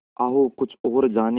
आओ कुछ और जानें